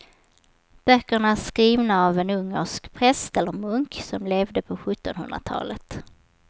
Böckerna är skrivna av en ungersk präst eller munk som levde på sjuttonhundratalet.